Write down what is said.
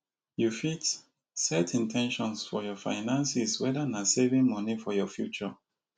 you fit set in ten tions for your finances whether na saving monie for your future